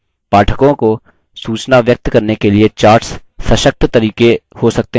पाठकों को सूचना व्यक्त करने के लिए charts सशक्त तरीके हो सकते हैं